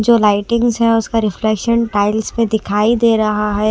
जो लाइटिंग्स है उसका रिफ्लेक्शन टाइल्स पे दिखाई दे रहा है।